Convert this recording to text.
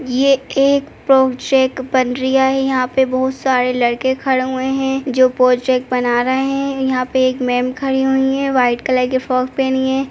ये एक प्रोजेक बन रिया है। यहाँ पे बोहोत सारे लड़के खड़े हुए हैं जो पोजेक बना रहे हैं। यहाँ पे एक मेम खड़ी हुई हैं वाइट कलर की फ्रॉग पहनी हैं।